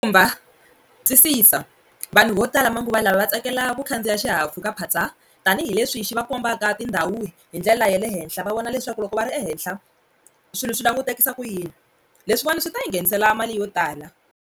Khumba twisisa vanhu vo tala manguvalava va tsakela ku khandziya xihahampfhukaphatsa tanihileswi xi va kombaka tindhawu hi ndlela ya le henhla va vona leswaku loko va ri ehenhla swilo swi langutekisa ku yini leswiwani swi ta ndzi nghenisela mali yo tala.